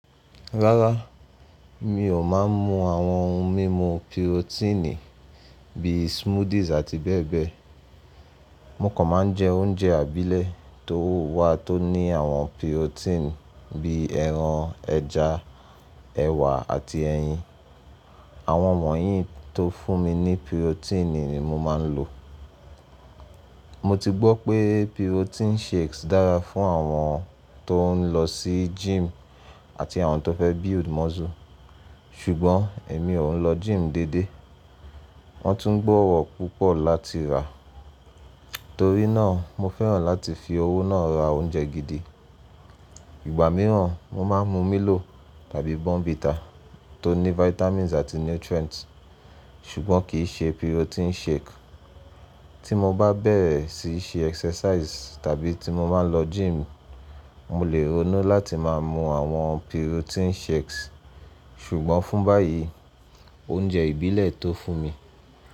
Rárá, mi ò máa ń mu àwọn ohun mímu pirotíìnì bíi smoothies àti bẹ́ẹ̀ bẹ́ẹ̀. Mo kàn máa ń jẹ oúnjẹ ìbílẹ̀ tó wà tó ní àwọn pirotíìnì bíi ẹran, ẹja, ẹ̀wà àti ẹyin. Àwọn wọ̀nyí tó fún mi ní pirotíìnì ni mo máa ń lò. Mo ti gbọ́ pé pirotíìnì shakes dára fún àwọn tó ń lọ sí gym àti àwọn tó fẹ́ build muscle. Ṣùgbọ́n èmi ò ń lọ gym deédée. Wọ́n tún gbọ́wọ́ púpọ̀ láti rà. Torí náà mo fẹ́ràn láti fi owó náà ra oúnjẹ gidi. Ìgbà mìíràn mo máa ń mu milo tàbí bournvita tó ní vitamins àti nutrients ṣùgbọ́n kì í ṣe pirotíìnì shake. Tí mo bá bẹ̀rẹ̀ síí ṣe exercise tàbí tí mo bá n lọ gym, mo le ronú láti máa mú àwọn pirotíìnì shakes. Ṣùgbọ́n fún báyìí, oúnjẹ ìbílẹ̀ tó fún mi.